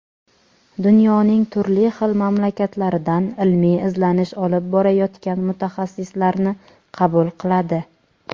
dunyoning turli xil mamlakatlaridan ilmiy izlanish olib borayotgan mutaxassislarni qabul qiladi.